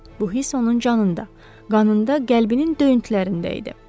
Bu hiss onun canında, qanında, qəlbinin döyüntülərində idi.